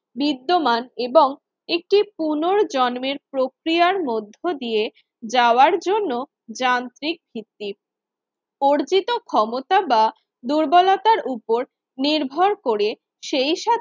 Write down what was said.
বিদ্যমান এবং একটি পুনর্জন্মের প্রক্রিয়ার মধ্য দিয়ে যাওয়ার জন্য যান্ত্রিক ভিত্তিক। অর্জিত ক্ষমতা বা দুর্বলতার উপর নির্ভর করে সেই সা